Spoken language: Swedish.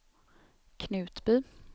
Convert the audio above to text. Knutby